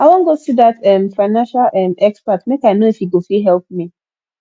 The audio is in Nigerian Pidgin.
i wan go see dat um financial um expert make i no if he go fit help me